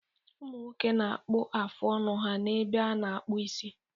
Ụmụ nwoke na-akpụ afụ ọnụ ha n'ebe a na-akpụ isi.